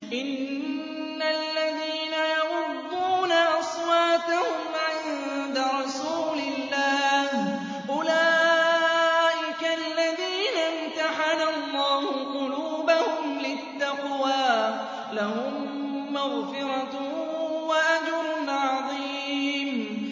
إِنَّ الَّذِينَ يَغُضُّونَ أَصْوَاتَهُمْ عِندَ رَسُولِ اللَّهِ أُولَٰئِكَ الَّذِينَ امْتَحَنَ اللَّهُ قُلُوبَهُمْ لِلتَّقْوَىٰ ۚ لَهُم مَّغْفِرَةٌ وَأَجْرٌ عَظِيمٌ